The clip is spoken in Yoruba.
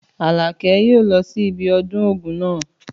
Àlàkẹ́ yóò lọ sí ibi ọdún Ògún náà.